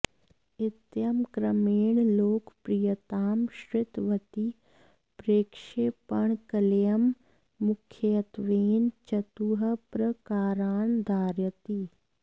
इत्यं क्रमेण लोकप्रियतां श्रितवती प्रक्षेपणकलेयं मुख्यत्वेन चतुः प्रकारान् धारयति